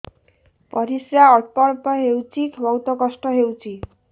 ପରିଶ୍ରା ଅଳ୍ପ ଅଳ୍ପ ହଉଚି ବହୁତ କଷ୍ଟ ହଉଚି